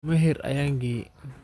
Maher ayan keeye.